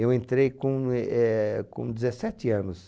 Eu entrei com e éh.. com dezessete anos